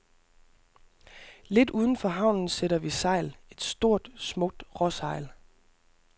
Lidt uden for havnen sætter vi sejl, et stort, smukt råsejl.